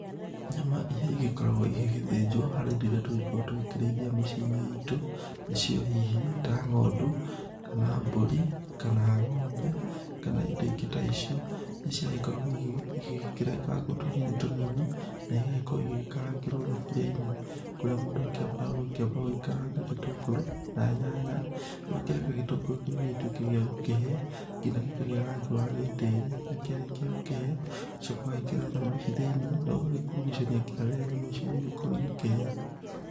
Nyama iria igĩkoragwo igĩgĩthĩnjwo, harĩ indo irio tũgĩkoragwo tũgĩkĩrĩithia mĩciĩ-inĩ itũ, nĩ cio hihi ta ng'ondu, kana mbũri kana ng'ombe kana indo ingĩ ta icio, nĩ cio igĩkoragwo igĩkĩrengagwo tũnini tũnini, na igagĩkorwo igĩkarangĩrwo thaburia-inĩ, kũrĩa mũndũ akĩmbaga gũkĩamba ũgĩkaranga gĩtũngũrũ, na nyanya, ũgakĩreka gĩtũngũrũ kĩu gĩtuĩke gia gũkĩhĩa, ginya gĩkagĩa rangi wa gĩĩtĩri, na kĩarĩkia gũkĩhĩa, ũgacoka ũgekĩra nyama ici thiĩniĩ, na ũgagĩkurugashania nginya rĩrĩa nyama ici igũkorwo igĩkĩhĩa.